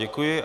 Děkuji.